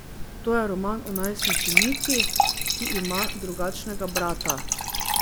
To je roman o najstnici Niki, ki ima drugačnega brata.